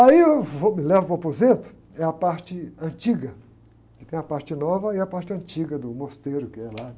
Aí eu vou, me levam para o aposento, é a parte antiga, que tem a parte nova e a parte antiga do mosteiro que é lá.